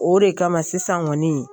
O de kama sisan kɔni ye